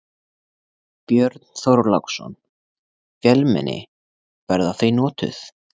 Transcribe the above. Björn Þorláksson: Vélmenni, verða þau notuð?